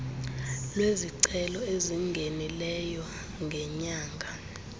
lwezicelo ezingenileyo ngenyanga